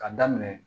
Ka daminɛ